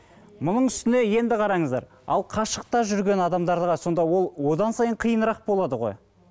мұның үстіне енді қараңыздар ал қашықта жүрген адамдарға сонда ол одан сайын қиынырақ болады ғой